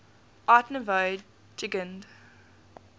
art nouveau jugend